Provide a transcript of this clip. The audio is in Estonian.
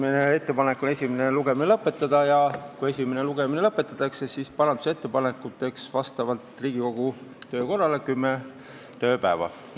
On ettepanek esimene lugemine lõpetada ja kui esimene lugemine lõpetatakse, siis määrata parandusettepanekute esitamise tähtajaks vastavalt Riigikogu töökorrale kümme tööpäeva.